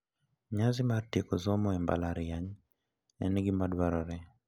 Nyasi mar tieko somo e mbalariany, en gima dwarore.